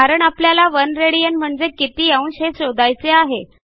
कारण आपल्याला 1 राड म्हणजे किती अंश हे शोधायचे आहे